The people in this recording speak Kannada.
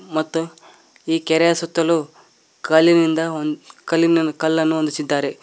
ಮತ್ತು ಈ ಕೆರೆಯ ಸುತ್ತಲು ಕಾಲಿನಿಂದ ಕಲ್ಲಿನ ಕಲ್ಲನ್ನು ಹೊಂದಿಸಿದ್ದಾರೆ.